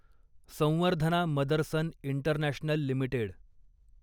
Samvardhana Motherson International limited